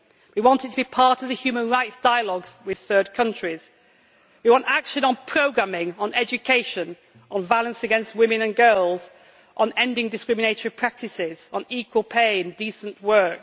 We want it to be part of the human rights dialogue with third countries and we want action on programing on education, on violence against women and girls, on ending discriminatory practices, on equal pay and decent work.